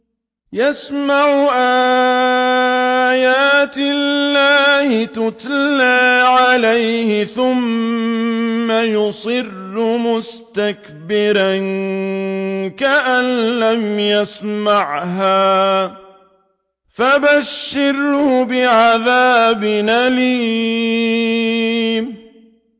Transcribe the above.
يَسْمَعُ آيَاتِ اللَّهِ تُتْلَىٰ عَلَيْهِ ثُمَّ يُصِرُّ مُسْتَكْبِرًا كَأَن لَّمْ يَسْمَعْهَا ۖ فَبَشِّرْهُ بِعَذَابٍ أَلِيمٍ